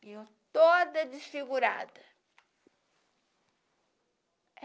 Viu eu toda desfigurada.